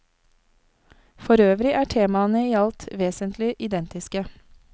Forøvrig er temaene i alt vesentlig identiske.